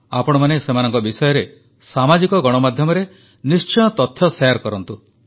ଆପଣମାନେ ସେମାନଙ୍କ ବିଷୟରେ ସାମାଜିକ ଗଣମାଧ୍ୟମରେ ନିଶ୍ଚୟ ତଥ୍ୟ ଶେୟାର କରନ୍ତୁ